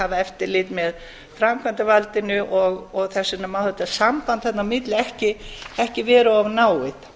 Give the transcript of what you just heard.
hafa eftirlit með framkvæmdarvaldinu þess vegna má þetta samband þarna á milli ekki vera of náið